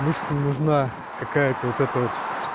мышцам нужна какая-то вот это вот